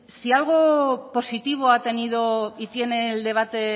si algo positivo ha tenido y tiene el debate